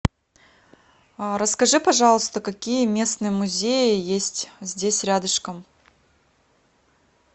расскажи пожалуйста какие местные музеи есть здесь рядышком